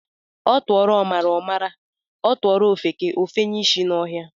A tuoro omara, o mara, a tuoro ofeke, o fenye ishi n'ohia.